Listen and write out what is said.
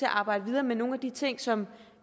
at arbejde videre med nogle af de ting som